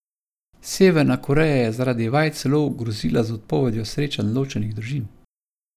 Severna Koreja je zaradi vaj celo grozila z odpovedjo srečanj ločenih družin.